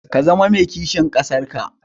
Ka zama mai kishin ƙasar ka.